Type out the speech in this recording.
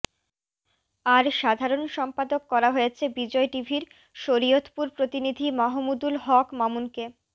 আর সাধারণ সম্পাদক করা হয়েছে বিজয় টিভির শরীয়তপুর প্রতিনিধি মাহমুদুল হক মামুনকে